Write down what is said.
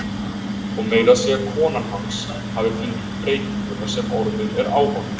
Og meira að segja konan hans hafi fundið breytinguna sem orðin er á honum.